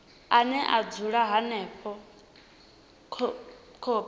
ane a dzula henefho khophi